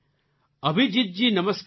અભિજીતજી નમસ્કાર